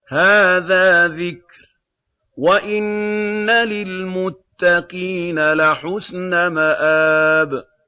هَٰذَا ذِكْرٌ ۚ وَإِنَّ لِلْمُتَّقِينَ لَحُسْنَ مَآبٍ